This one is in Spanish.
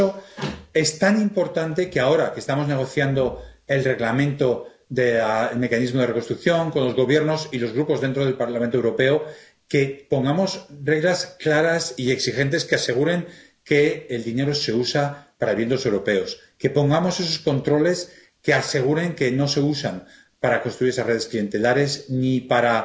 Por eso es tan importante que ahora que estamos negociando el Reglamento relativo al Mecanismo de Recuperación y Resiliencia con los Gobiernos y los Grupos dentro del Parlamento Europeo, pongamos reglas claras y exigentes que aseguren que el dinero se usa para el bien de los europeos, que pongamos esos controles que aseguren que no se usa para construir esas redes clientelares ni para